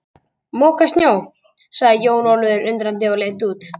Moka snjó, sagði Jón Ólafur undrandi og leit út.